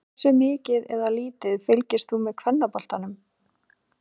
Hversu mikið eða lítið fylgist þú með kvennaboltanum?